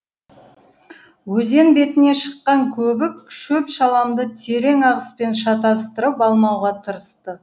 өзен бетіне шыққан көбік шөп шаламды терең ағыспен шатастырып алмауға тырысты